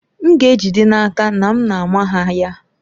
M ga-ejide n'aka na m na-ama ha ya.